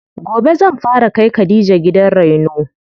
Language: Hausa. Gobe zan fara kai khadija gidan reno.